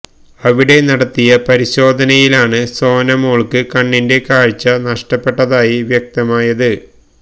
അവിടെ നടത്തിയ പരിശോധനയിലാണ് സോന മോള്ക്ക് കണ്ണിന്റെ കാഴ്ച നഷ്ടപ്പെട്ടതായി വ്യക്തമായത്